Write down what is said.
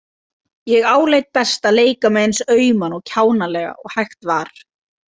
Ég áleit best að leika mig eins auma og kjánalega og hægt var.